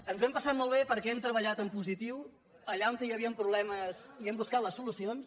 ens ho hem passat molt bé perquè hem treballat en positiu allà on hi havien problemes hem buscat les solucions